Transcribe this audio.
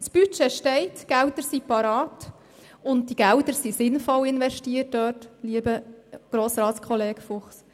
Das Budget besteht, die Gelder sind bereit und sinnvoll investiert, lieber Grossratskollege Fuchs.